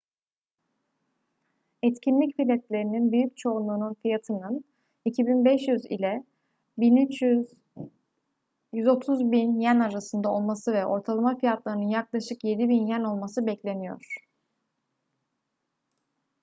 etkinlik biletlerinin büyük çoğunluğunun fiyatının 2.500 ila 130.000 ¥ arasında olması ve ortalama fiyatlarının yaklaşık 7.000 ¥ olması bekleniyor